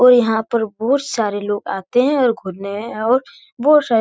और यहाँ पर बहुत सारे लोग आते हैं घूरने और बहुत सारे --